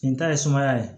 Nin ta ye sumaya ye